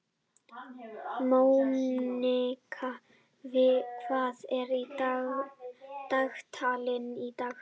Mónika, hvað er í dagatalinu í dag?